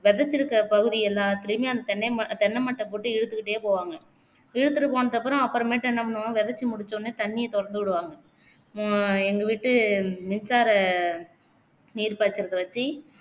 விதைச்சிருக்க பகுதி எல்லாத்திலையுமே அந்த தென்னை ம தென்னை மட்டை போட்டு இழுத்துக்குட்டே போவாங்க இழுத்துட்டு போனதுக்கு அப்பறம் அப்பறமேட்டு என்னபண்ணுவாங்க விதைச்கு முடிச்சோனே தண்ணீய தொறந்து விடுவாங்க அஹ் எங்க வீட்டு மின்சார நீர்பாய்ச்சுரத வச்சு